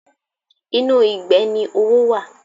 Inú ìgbẹ́ ni owó wà.